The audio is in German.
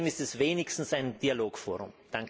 Trotzdem ist es wenigstens ein Dialogforum.